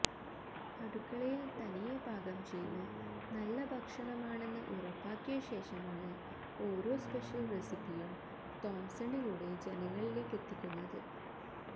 അടുക്കളയില് തനിയെ പാകം ചെയ്ത് നല്ല ഭക്ഷണമാണെന്ന് ഉറപ്പാക്കിയശേഷമാണ് ഓരോ സ്പെഷ്യല് റെസിപ്പിയും തോംസണിലൂടെ ജനങ്ങളിലേക്കെത്തിക്കുന്നത്